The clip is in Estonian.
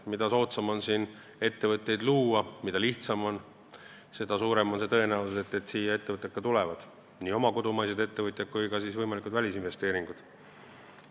Mida soodsam ja lihtsam on siin ettevõtteid luua, seda suurem on see tõenäosus, et ettevõtjad siia tulevad, nii kodumaised kui ka võimalikud välisinvesteeringud.